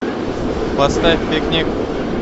поставь пикник